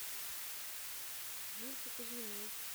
юльке кузьминой